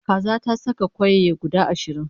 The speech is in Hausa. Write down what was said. Kaza ta saka kwayaye guda ashirin